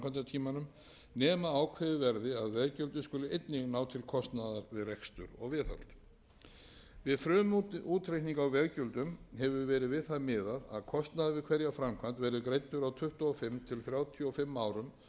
að veggjöldin skuli einnig ná til kostnaðar við rekstur og viðhald við frumútreikning á veggjöldunum hefur verið við það miðað að kostnaður við hverja framkvæmd verði greiddur á tuttugu og fimm til þrjátíu og fimm árum og jafnvel